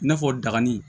I n'a fɔ dagani